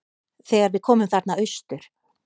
Þegar við komum þarna austur.